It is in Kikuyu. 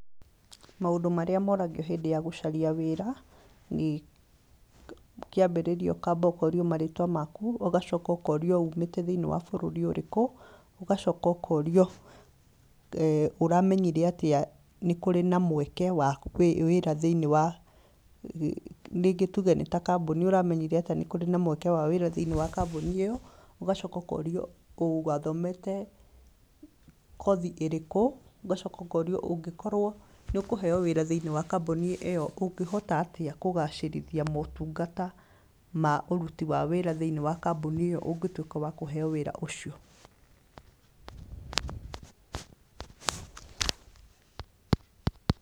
Maũndũ marĩa maũragio hĩndĩ ya gũcaria wĩra nĩ, kĩambĩrĩria ũkaamba ũkaũrio marĩtwa maku, ũgacoka ũkaũrio ũmĩte thĩinĩ wa bũrũri ũrĩku, ũgacoka ũkaũrĩo ũramenyire atĩa nĩ kũrĩ na mweke wa wĩra thĩinĩ wa, rĩngĩ tuuge nĩ ta kambuni, ũramenyire atĩa ni kũrĩ na mweke wa wĩra thĩinĩ wa kambuni ĩyo. Ũgacoka ũkaũrio wathomete kothi ĩrĩkũ. Ũgacoka ũkaũrio ũngĩkorwo ni ũkũheo wĩra thĩinĩ wa kambuni ĩyo, ũngĩhota atĩa kũgacĩrithia maũtungata ma ũruti wa wĩra thĩinĩ wa kambuni ĩyo ũngĩtuĩka wa kũheo wĩra ũcio.